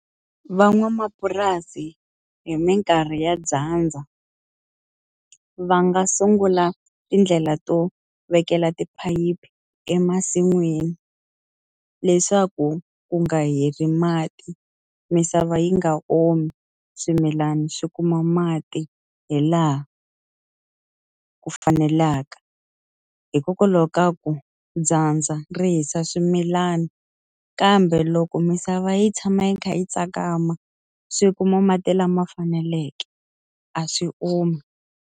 Van'wamapurasi hi minkarhi ya dyandza, va nga sungula tindlela to vekela tiphayiphi emasin'wini. Leswaku ku nga heli mati, misava yi nga omi, swimilana swi kuma mati hi laha ku fanelaka. Hikokwalaho ka ku dyandza ri hisa swimilana, kambe loko misava yi tshama yi kha yi tsakama swi kuma mati lama faneleke, a swi omi.